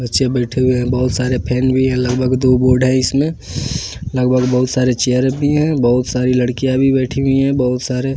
बच्चे बैठे हुए हैं बहुत सारे फैन भी है लगभग दो बोर्ड है इसमें लगभग बहुत सारे चेयर भी हैं बहुत सारी लड़कियाँ भी बैठी हुई हैं बहुत सारे --